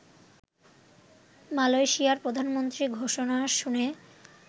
মালয়েশিয়ার প্রধানমন্ত্রীর ঘোষণা শুনে